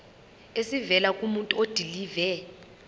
esivela kumuntu odilive